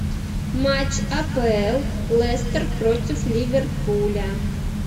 матч апл лестер против ливерпуля